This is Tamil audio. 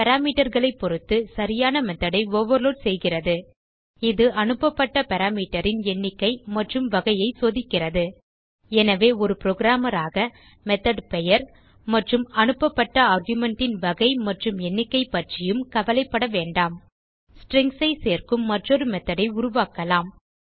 parameterகளைப் பொருத்து சரியான methodஐ ஓவர்லோட் செய்கிறது இது அனுப்பப்பட்ட பாராமீட்டர் ன் எண்ணிக்கை மற்றும் வகையை சோதிக்கிறது எனவே ஒரு programmerஆக மெத்தோட் பெயர் மற்றும் அனுப்பப்பட்ட ஆர்குமென்ட் ன் வகை மற்றும் எண்ணிக்கைப்பற்றியும் கவலைப்பட வேண்டாம் stringsஐ சேர்க்கும் மற்றொரு மெத்தோட் ஐ உருவாக்கலாம்